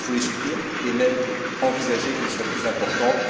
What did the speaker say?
Il faut les soutenir et même envisager qu'elles soient plus importantes.